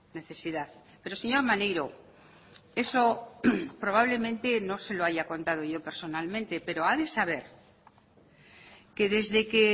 necesidad pero señor maneiro eso probablemente no se lo haya contado yo personalmente pero ha de saber que desde que